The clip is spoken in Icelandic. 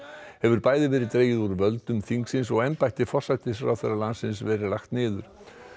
hefur bæði verið dregið úr völdum þingsins og embætti forsætisráðherra landsins hefur verið lagt niður